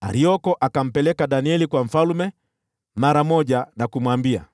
Arioko akampeleka Danieli kwa mfalme mara moja na kumwambia,